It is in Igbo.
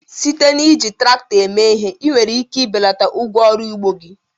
Site n'iji traktọ eme ihe, ị nwere ike ibelata ụgwọ ọrụ n'ugbo gị.